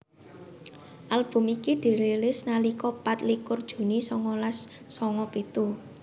Album iki dirilis nalika pat likur juni songolas songo pitu